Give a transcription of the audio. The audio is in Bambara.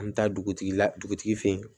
An bɛ taa dugutigila dugutigi fɛ yen